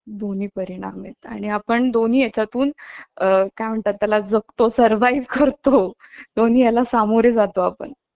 त्यांना आ~ आर्थिकरित्या सक्षम करावं लागतं आणि मग अं काय असत कि अ~ आ म्हणजे घरातील आह आर्थिकव्यवस्था अं ग शाशवता हवी म्हणून अं अं